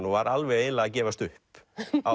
og var alveg eiginlega að gefast upp